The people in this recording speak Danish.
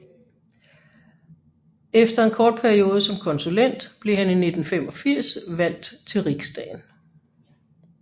Efter en kort periode som konsulent blev han i 1985 valgt til Riksdagen